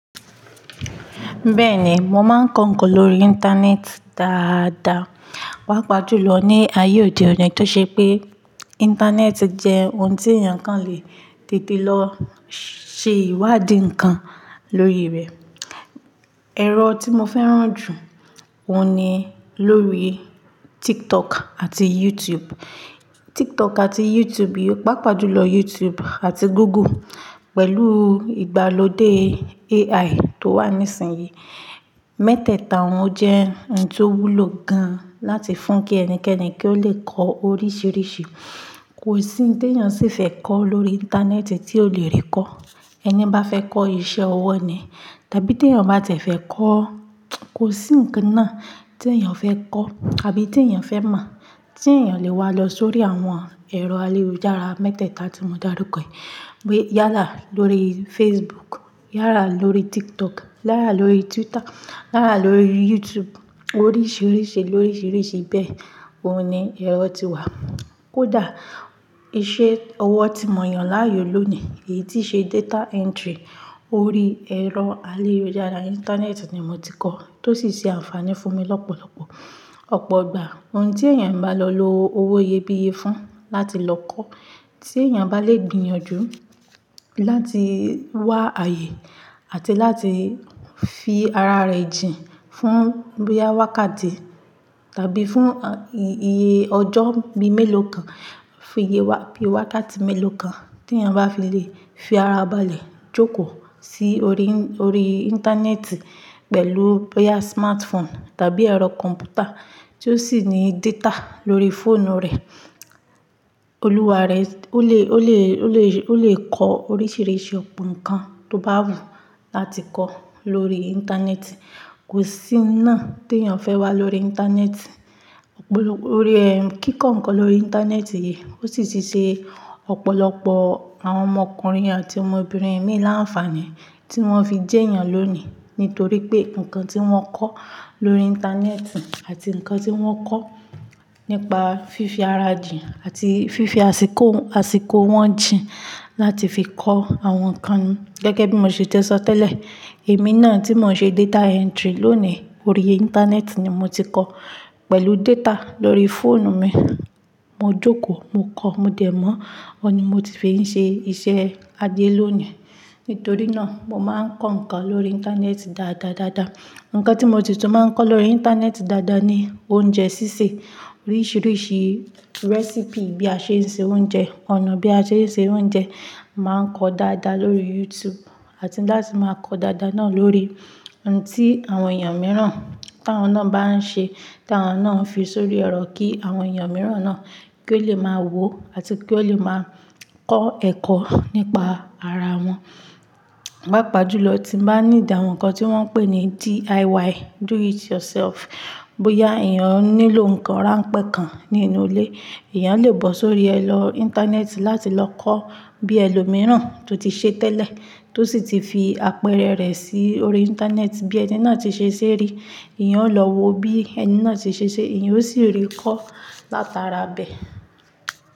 Bẹ́ẹ̀ ni, mo máa ń kọ ǹkan lórí internet dáadaa. Pàá pa jù lọ ní ayé òde òní tó ṣe pé internet jẹ́ ohun tí èèyàn kan lè tètè lọ ṣe ìwádìí ǹkan lórí rẹ̀. Ẹ̀rọ tí mo fẹ́ràn jù óun ni lórí TikTok àti YouTube. TikTok àti YouTube yii, pàápàá jùlọ YouTube àti Google pẹ̀lú ìgbàlódé AI tó wà nísinsìnyí. Mẹ́tẹ́ẹ̀ta wọn jẹ́ ohun tó wúlò gan láti fún kí ẹni kẹ́ẹ̀nì kí ó lè kọ oríṣìíríṣìí. Kò sí ohun tí èèyàn sì fẹ́ kọ lórí internet tí ò lè rí kọ́. Ẹni bá fẹ́ kọ́ iṣẹ́ ọwọ́ ni tàbí tí èèyàn bá tiẹ̀ fẹ́ kọ́, kò sí ǹkan náà tí èèyàn fẹ́ kọ́ àbí tí èèyàn fẹ́ mọ̀ tí èèyàn lè wá lọ sórí àwọn ẹ̀rọ ayélujára mẹ́tẹ́ẹ̀ta tí mo dàrúkọ. Yála lórí Facebook, yala lórí TikTok, yala lórí Twitter, yala lórí YouTube, oríṣìíríṣìí lóríṣìíríṣìí bẹ́ẹ̀ ó ni ẹ̀rọ ti wà. Kodà iṣẹ́ ọwọ́ tí mo yàn láàyò lónìí, èyí tí ṣe data entry orí ẹ̀rọ ayélujára internet ni mo ti kọ́ tó sì ṣe ànfààní fún mi lọ́pọ̀lọpọ̀. Ọ̀pọ̀ igbà ohun tí èèyàn bá lọ lo owó iyebíye fún láti lọ kọ́ tí èèyàn bá lè gbìyànjú láti wá ààyè àti láti fi ara rẹ̀ jìn fún bóyá wákàtí tàbí fún iye ọjọ́ bí i mélòó kan, fún iye wákàtí mélòó kan tí èèyàn bá fi lè fi ara balẹ̀ jókòó sí orí internet pẹ̀lú bóyá smartphone tàbí ẹ̀rọ computer tí ó sì ní data lórí fóònù rẹ̀, olúwa rẹ̀ ó lè, ó lè, ó lè kọ oríṣìíríṣìí ọ̀pọ̀ ǹkan tó bá wù ú láti kọ́ lórí internet Kò sí ohun náà tí èèyàn fẹ́ wá lórí internet Òpòlòpó ọ̀rẹ́ ń kíkọ ǹkan lórí internet yìí ó sì ti ṣe ọ̀pọ̀lọpọ̀ àwọn ọmọkùnrin àti ọmọbìnrin ẹ̀mí láǹfààní tí wọ́n fi jẹ́ èèyàn lónìí nítorí pé ǹkan tí wọ́n kọ́ lórí Íńtánẹ́ẹ̀tì àti ǹkan tí wọ́n kọ́ nípa fífi ara jìn àti fífi àsìkò, àsìkò wọn jìn láti fi kọ́ àwọn ǹkan gẹ́gẹ́ bí mo ṣe ti sọ tẹ́lẹ̀. Èmi náà tí mo ń ṣe data entry lónìí orí internet ni mo ti kọ́ pẹ̀lú data lórí fóònù mi. Mo jókòó, mo kọ́, mo dẹ̀ mọ́, ó ni mo ti fi ń ṣe iṣẹ́ ajé lónìí. Nítorí náà mo máa ń kọ́ ǹkan lórí internet dáadaa dáadaa. Ǹkan tí mo si tún máa ń kọ́ lórí internet dáadaa ni oúnjẹ sísè, oríṣìíríṣìí recipe bí a ṣe ń ṣe oúnjẹ, ọ̀nà bí a ṣe ń ṣe oúnjẹ, màá ń kọ dáadáa lórí YouTube àti láti máa kọ dáadáa náà lórí ohun tí àwọn èèyàn mìíràn táwọn náà bá ń ṣe táwọn náà fi sórí ẹ̀rọ kí àwọn èèyàn mìíràn náà kí ó lè máa wò ó àti kí ó lè máa kọ́ ẹ̀kọ́ nípa ara wọn. Paa pàá jù lọ tí n bá need awon ǹkan tí wọ́n ń pè ní DIY, do it yourself. Bóyá èèyàn nílò ǹkan ránpẹ́ kan nínú ilé, èèyàn lè bọ̀ sórí ẹ lọ internet láti lọ kọ́ bí ẹlòmíràn tó ti ṣe tẹ́lẹ̀ tó sì ti fi àpẹẹrẹ rẹ̀ sí orí internet bí ẹni náà ti ṣe ṣé rí, èèyàn ó lọ wo bí ẹni náà ṣe ṣé ṣe èèyàn ó sì rí kọ́ látara bẹ̀.